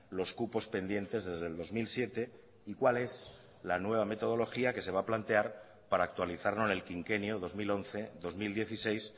los cupos pendientes desde el dos mil siete y cuál es la nueva metodología que se va a plantear para actualizarlo en el quinquenio dos mil once dos mil dieciséis